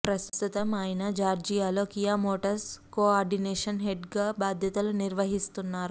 ప్రస్తుతం ఆయన జార్జియాలో కియా మోటార్స్ కో ఆర్డినేషన్ హెడ్గా బాధ్యతలు నిర్వహిస్తున్నారు